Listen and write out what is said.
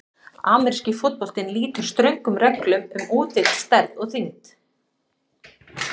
Ameríski fótboltinn lýtur ströngum reglum um útlit, stærð og þyngd.